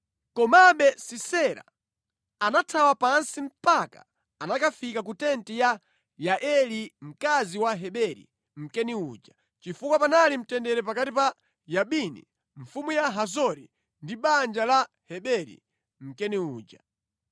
Komabe Sisera anathawa pansi mpaka anakafika ku tenti ya Yaeli mkazi wa Heberi Mkeni uja, chifukwa panali mtendere pakati pa Yabini mfumu ya Hazori ndi banja la Heberi, Mkeni uja.